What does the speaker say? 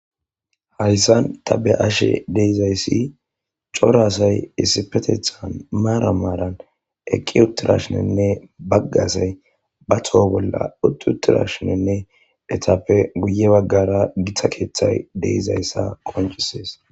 Haryssan ta be ashe deizayssi corasay issipetethan maara maaran eqqi uttirashinenne baggasay ba thoho bolla utti uttirashinenne etappe guye waggara githa keeththay deizayssa qoncisees.